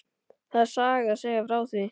Það er saga að segja frá því.